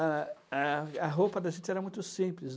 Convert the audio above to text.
A a a roupa da gente era muito simples.